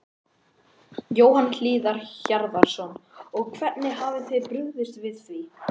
Jóhann Hlíðar Harðarson: Og hvernig hafið þið brugðist við því?